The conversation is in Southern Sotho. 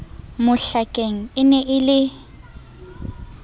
mohlakeng e ne e le